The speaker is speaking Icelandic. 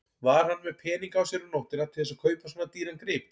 Var hann með peninga á sér um nóttina til þess að kaupa svona dýran grip?